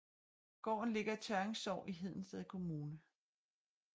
Gården ligger i Tørring Sogn i Hedensted Kommune